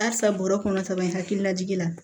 Halisa bɔrɔ kɔnɔ kaban hakili lajigi la